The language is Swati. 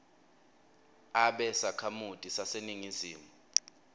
abe sakhamuti saseningizimu